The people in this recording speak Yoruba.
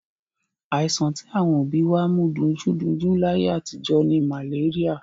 Àìsàn tí àwọn òbí wa mọ̀ dunjúdunjú láyé àtijọ́ ni màléríà.